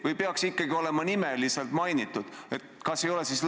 Või peaks mind ikkagi olema nimeliselt mainitud?